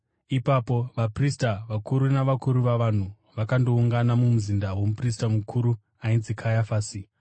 Ipapo vaprista vakuru navakuru vavanhu vakandoungana mumuzinda womuprista mukuru ainzi Kayafasi,